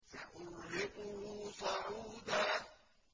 سَأُرْهِقُهُ صَعُودًا